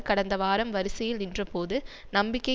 கடந்த வாரம் வரிசையில் நின்றபோது நம்பிக்கை